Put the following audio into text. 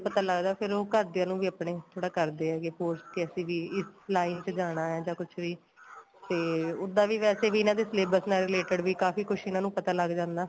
ਪਤਾ ਲੱਗਦਾ ਫੇਰ ਉਹ ਘਰਦਿਆ ਨੂੰ ਵੀ ਆਪਣੇ ਥੋੜਾ ਕਰਦੇ ਹੈਗੇ force ਕੇ ਅਸੀਂ ਵੀ line ਚ ਜਾਣਾ ਏ ਜਾ ਕੁੱਝ ਵੀ ਤੇ ਉਦਾ ਵੀ ਵੈਸੇ ਵੀ ਇਹਨਾ ਦੇ syllabus ਨਾਲ related ਵੀ ਕਾਫੀ ਕੁੱਝ ਇੰਨਾ ਨੂੰ ਪਤਾ ਲੱਗ ਜਾਂਦਾ